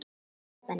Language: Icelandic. Fjóla Benný.